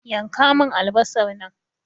Yanka mun albasar nan!